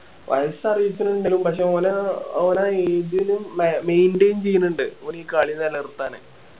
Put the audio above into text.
വയസ്സ് അറിയിക്കണുണ്ടേലും പക്ഷെ ഓൻ ആ ആഹ് ഓനാ age ലും മ maintain ചെയ്യണുണ്ട് ഓൻ ഈ കളി നിലനിര്ത്താന്